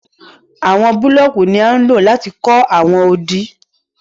Àwọn búlọọ̀kì ní à lọ̀ láti kọ̀ awọn òdì.